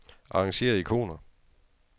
Arrangér ikoner.